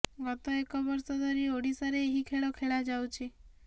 ଗତ ଏକ ବର୍ଷ ଧରି ଓଡ଼ିଶାରେ ଏହି ଖେଳ ଖେଳା ଯାଉଛି